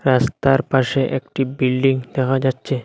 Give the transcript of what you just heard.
রাস্তার পাশে একটি বিল্ডিং দেখা যাচ্ছে।